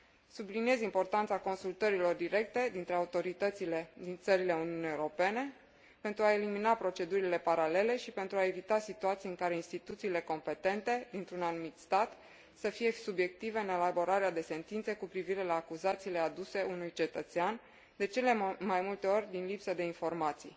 Subliniez importanța consultărilor directe dintre autoritățile din țările Uniunii Europene, pentru a elimina procedurile paralele și pentru a evita situații în care instituțiile competente dintr un anumit stat să fie subiective în elaborarea de sentințe cu privire la acuzațiile aduse unui cetățean, de cele mai multe ori din lipsă de informații.